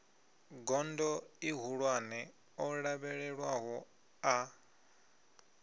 gondo ihulwane o lavhelelwaho a